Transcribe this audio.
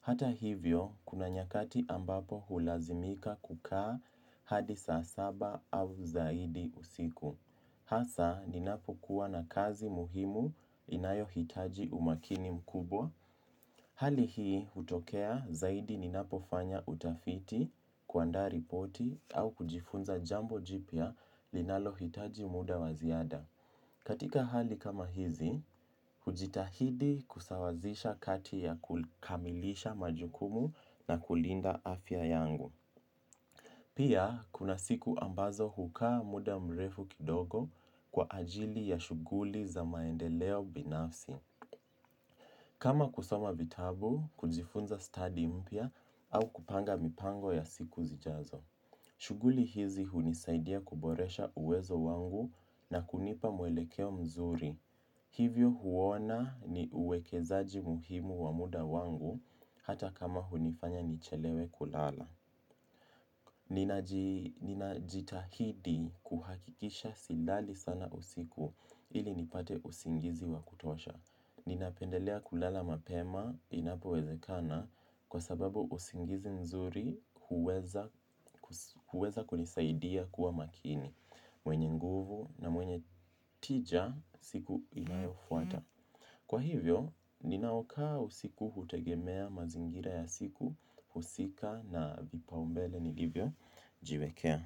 Hata hivyo, kuna nyakati ambapo hulazimika kukaa hadi saa saba au zaidi usiku. Hasa, ninapo kuwa na kazi muhimu inayo hitaji umakini mkubwa. Hali hii, hutokea zaidi ninapo fanya utafiti kuandaa ripoti au kujifunza jambo jipya linalo hitaji muda wa ziada. Katika hali kama hizi, hujitahidi kusawazisha kati ya kukamilisha majukumu na kulinda afya yangu. Pia, kuna siku ambazo hukaa muda mrefu kidogo kwa ajili ya shuguli za maendeleo binafsi. Kama kusoma vitabu, kujifunza study mpya au kupanga mipango ya siku zijazo. Shuguli hizi hunisaidia kuboresha uwezo wangu na kunipa mwelekeo mzuri. Hivyo huona ni uwekezaji muhimu wa muda wangu hata kama hunifanya nichelewe kulala. Ninajitahidi kuhakikisha silali sana usiku ili nipate usingizi wa kutosha. Ninapendelea kulala mapema inapo wezekana kwa sababu usingizi mzuri huweza kunisaidia kuwa makini. Mwenye nguvu na mwenye tija siku inayofuata. Kwa hivyo, ninaokaa usiku hutegemea mazingira ya siku, husika na vipaumbele nilivyojiwekea.